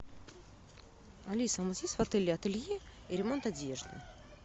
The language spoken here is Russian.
алиса у нас есть в отеле ателье и ремонт одежды